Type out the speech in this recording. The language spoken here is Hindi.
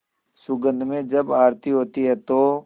सुगंध में जब आरती होती है तो